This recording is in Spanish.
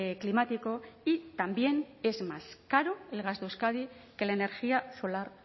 climático y también es más caro el gas de euskadi que la energía solar